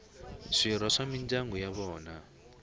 swirho swa mindyangu ya vona